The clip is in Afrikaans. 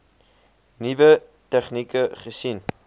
nuwe tegnieke gesien